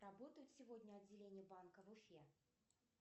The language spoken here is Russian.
работает сегодня отделение банка в уфе